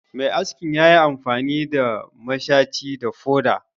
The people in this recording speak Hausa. Mai askin ya yi amfani da mashaci da foda